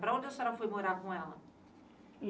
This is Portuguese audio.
Para onde a senhora foi morar com ela?